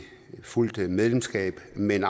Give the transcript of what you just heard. fuldt medlemskab men